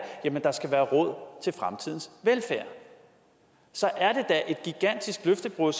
at der skal være råd til fremtidens velfærd så er det da et gigantisk løftebrud